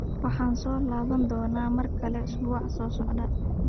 Waxaan soo laaban doonaa mar kale usbuuca soo socda